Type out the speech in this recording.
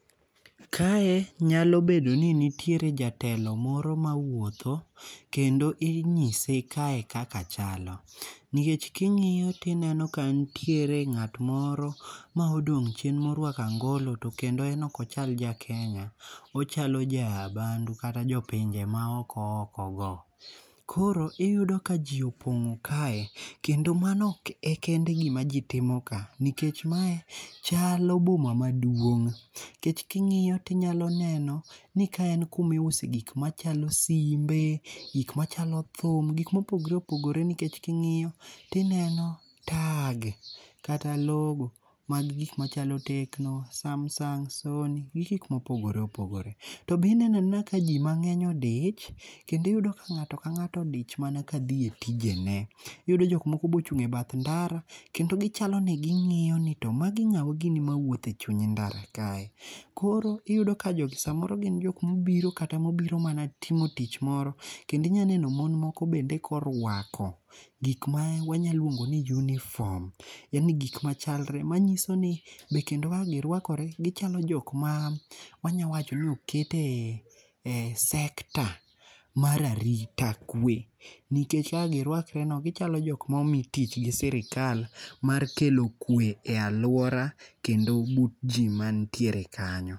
Kae nyalo bedo ni nitiere jatelo moro ma wuotho. Kendo inyise kae kaka chalo. Nikech king'iyo tineno ka nitiere ng'at moro ma odong' chieng' morwako angolo to kendo en ok ochal ja Kenya. Ochalo jaa bandu kata jo pinje ma oko oko go. Koro iyudo ka ji opong'o kae. Kendo mando e kende gima ji timo ka. Nikech mae chalo boma maduong'. Nikech king'iyo tinyalo neno ni kae en kumiuse gik machalo simbe. Gik machalo thum. Gik mopogore opogore nikech king'iyo tineno tag kata logo mag gik machalo Tekno, SamSung, Sony gi gik mopogore opogore. To be ineno anena ka ji mang'eny odich. Kendo iyudo ka ng'ato ka ng'ato odich mana ka dhi e tijene. Iyudo jok moko be ochung' e bath ndara. Kendo gichalo ni ging'iyo ni to magi ng'awa gini mawuothe chuny ndara kae. Koro iyudo ka jogi samoro gin jok mobiro kata mobiro mana timo tich moro. Kendo inya neno mon moko bende korwako gik ma wanyaluongo ni uniform. Yani gik machalre manyiso ni be kendo kaka girwakore gichalo jok man wanyawacho ni okete e sector mar arita kwe. Nikech kak girawkre no gichalo jok momi tich gi sirkal mar kelo kwe e aluora kendo but ji manitiere kanyo.